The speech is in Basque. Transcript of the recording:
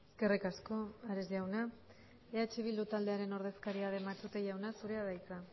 eskerrik asko ares jauna eh bildu taldearen ordezkaria den matute jauna zurea da hitza